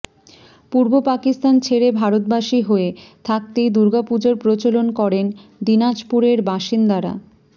পূর্ব পাকিস্তান ছেড়ে ভারতবাসী হয়ে থাকতেই দুর্গাপুজোর প্রচলন করেন দিনাজপুরের বাসিন্দারা